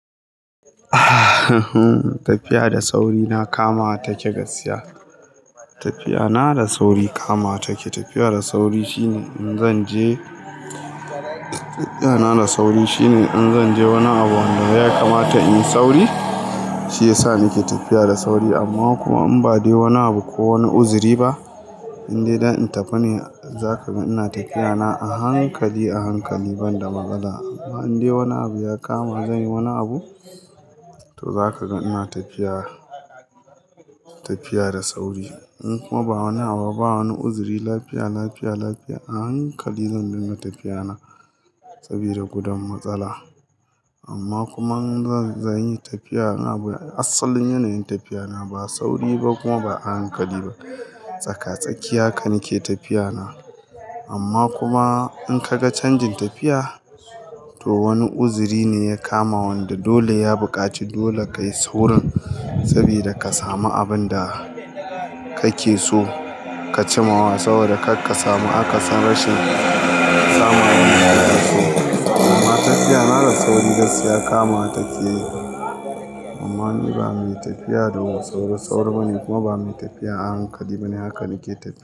Tafiya da sauri na kamawa ta ke gaskiya. Tafiya na da sauri kamawa ta ke. Tafiya da sauri shine zanje shine in zan je wani abu wanda ya kamata in yi sauri, shi yasa nake tafiya da sauri. Amma kuma in ba dai wani abu ko wani uzuri ba, in je don in tafi ne, za ka ga ina tafiya na a hankali, a hankali banda matsala. Amma in dai wani abu ya kama zan yi wani abu, to za ka ga ina tafiya, tafiya da sauri. In kuma ba wani abu, ba wani uzuri, lafiya, lafiya, lafiya, a hankali zan dinga tafiya na sabida gudun matsala. Amma kuma in zan yi tafiya, a asalin yanayin tafiya na, ba sauri ba kuma ba a hankali ba. Tsaka-tsakiya haka nike tafiya na. Amma kuma in ka ga canjin tafiya, to wani uzuri ne ya kama wanda dole ya buƙaci dole ka yi saurin sabida ka sami abin da kake so ka cimawa. Saboda kaka samu akasin rashin samun abin da kake so. Amma tafiya na da sauri gaskiya kama ta ke. Amma ni ba mai tafiya da sauri-sauri bane kuma ba mai tafiya a hankali bane. Haka nike tafiya.